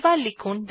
এবার লিখুন